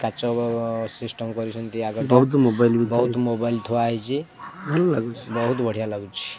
କାଚ ଓ ଓ ସିଷ୍ଟମ୍ କରିଛନ୍ତି ଆଗଟା ବହୁତ୍ ମୋବାଇଲ ଥୁଆ ହେଇଚି ବହୁତ୍ ବଢିଆ ଲାଗୁଛି।